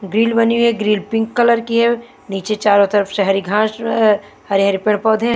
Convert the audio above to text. grill बनी हुई है ग्रिल पिंक कलर की है नीचे चारो तरफ शहरी घास हरे-हरे पेड़ पौधे है--